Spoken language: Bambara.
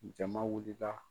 Jama wulila.